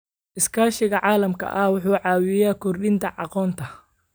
Iskaashiga caalamiga ah wuxuu caawiyaa kordhinta aqoonta.